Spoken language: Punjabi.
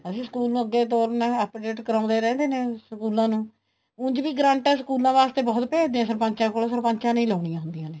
ਅਸੀਂ school ਨੂੰ ਅੱਗੇ ਤੋਰਨਾ update ਕਰਾਉਦੇ ਰਹਿੰਦੇ ਨੇ ਸਕੂਲਾਂ ਨੂੰ ਉੱਝ ਵੀ ਗ੍ਰਾਂਟਾ ਸਕੂਲਾਂ ਵਾਸਤੇ ਬਹੁਤ ਭੇਜਦੇ ਹੈ ਸਰਪੰਚਾ ਕੋਲ ਸਰਪੰਚਾ ਨੇ ਹੀ ਲਾਉਣੀਆਂ ਹੁੰਦੀਆਂ ਨੇ